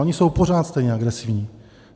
Oni jsou pořád stejně agresivní.